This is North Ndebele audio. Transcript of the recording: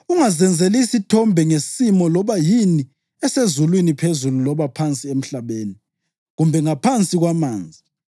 Ungazenzeli isithombe ngesimo saloba yini esezulwini phezulu loba phansi emhlabeni kumbe ngaphansi kwamanzi.